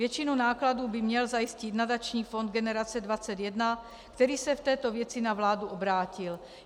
Většinu nákladů by měl zajistit nadační fond Generace 21, který se v této věci na vládu obrátil.